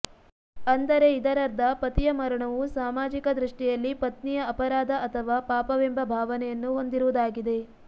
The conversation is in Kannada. ಅಂದರೆ ಇದರರ್ಧ ಪತಿಯ ಮರಣವು ಸಾಮಾಜಿಕ ದೃಷ್ಟಿಯಲ್ಲಿ ಪತ್ನಿಯ ಅಪರಾಧ ಅಥವಾ ಪಾಪವೆಂಬ ಭಾವನೆಯನ್ನು ಹೊಂದಿರುವುದಾಗಿದೆ